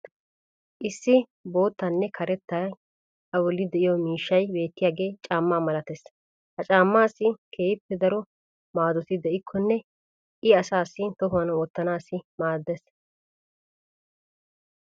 issi biittaynne karettay a bolli diyo miishshay beettiyaagee caamaa malattees. ha caamaassi keehi daro maaddoti de'ikkonne i asaassi tohuwan wottanaassi maadees.